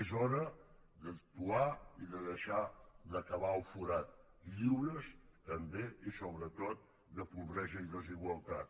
és hora d’actuar i de deixar de cavar el forat lliures també i sobretot de pobresa i desigualtat